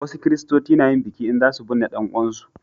wasu kiristoci na yin biki in za su binne dan uwan su